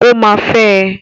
Ó máa fẹ́ ẹ.